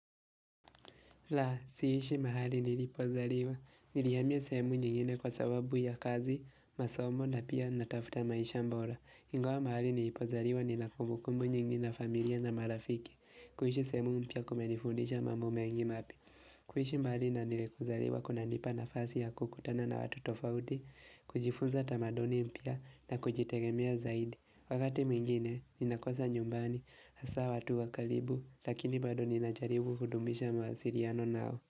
La, siishi mahali nilipozaliwa, nilihamia sehemu nyingine kwa sababu ya kazi, masomo na pia natafuta maisha bora. Ingawa mahali nilipozaliwa ni la kumbukumbu nyingine na familia na marafiki, kuishi sehemu mpya kumenifundisha mambo mengi mapya. Kuishi mahali na nilipozaliwa kuna nipa nafasi ya kukutana na watu tofauti, kujifunza tamaduni mpya na kujitegemea zaidi. Wakati mwingine, ninakosa nyumbani, hasa watu wakalribu, lakini bado nina jaribu kudumisha mawasiliano nao.